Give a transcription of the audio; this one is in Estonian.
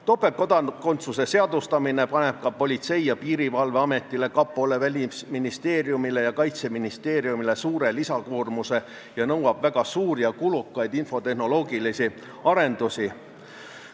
Topeltkodakondsuse seadustamine paneb Politsei- ja Piirivalveametile, kapole, Välisministeeriumile ja Kaitseministeeriumile suure lisakoormuse ning nõuab väga suuri ja kulukaid infotehnoloogilisi arendusi.